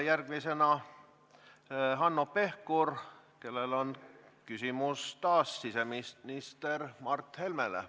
Järgmisena Hanno Pevkur, ka temal on küsimus siseminister Mart Helmele.